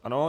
Ano.